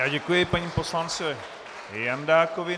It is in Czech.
Já děkuji panu poslanci Jandákovi.